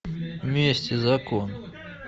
месть и закон